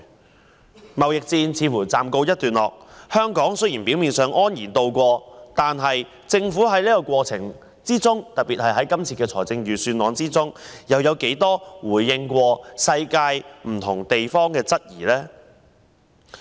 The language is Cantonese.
中美貿易戰似乎暫時告一段落，雖然香港表面上是安然渡過，但政府在整個過程中，特別是這份預算案，就世界各地提出的質疑作過多少次回應呢？